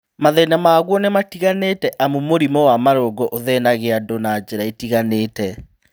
Mathĩna maguo nĩmatiganĩte amu mũrimũ wa marũngo ũthĩnagia andũ na njĩra itiganĩte